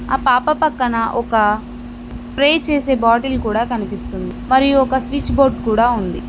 ఆ పాప పక్కన ఒక స్ప్రే చేసే బాటిల్ కూడా కనిపిస్తుంది మరియు ఒక స్విచ్ బోర్డ్ కూడా ఉంది.